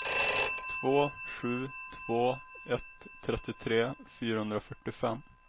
två sju två ett trettiotre fyrahundrafyrtiofem